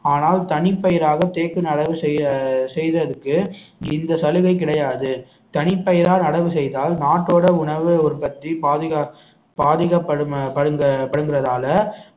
ஆனால் தனிப்பயிராக தேக்கின் நடவு செய்~ அஹ் செய்ததுக்கு இந்த சலுகை கிடையாது தனிப்பெயரால் நடவு செய்தால் நாட்டோட உணவு உற்பத்தி பாதிக்க பாதிக்க படும~ படுங்க~ படுங்கறதால